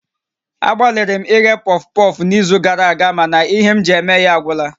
Agbalịrị m ighe ụfọdụ pọfpọf n'izu gara aga mana ihe m ji eme ya agwụla